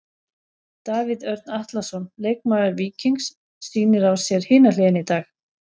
Davíð Örn Atlason, leikmaður Víkings sýnir á sér hina hliðina í dag.